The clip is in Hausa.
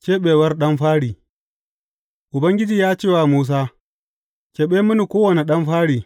Keɓewar ɗan fari Ubangiji ya ce wa Musa, Keɓe mini kowane ɗan fari.